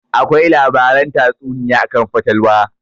Akwai labaran tatsuniya akan fatalwa